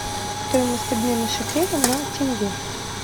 стоимость обмена шекеля на тенге